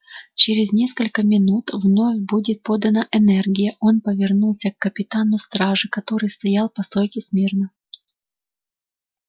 через несколько минут вновь будет подана энергия он повернулся к капитану стражи который стоял по стойке смирно